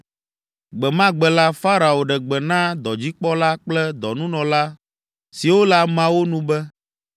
Gbe ma gbe la, Farao ɖe gbe na dɔdzikpɔla kple dɔnunɔla siwo le ameawo nu be,